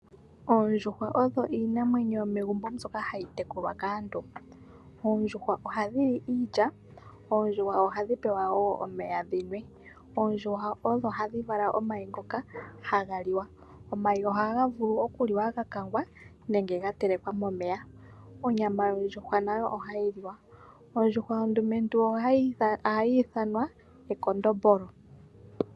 Oondjuhwa odho iinamwenyo yomegumbo mbyoka hayi tekulwa kaantu. Oondjuhwa ohadhi li iilya, oondjuhwa ohadhi pewa wo omeya dhi nwe. Oondjuhwa ohadhi vala omayi ngoka haga liwa. Omayi ohaga vulu okuliwa ga kangwa nenge ga telekwa momeya. Onyama yondjuhwa nayo ohayi liwa. Ondjuhwa ondumentu ohayi ithanwa ekondombolo.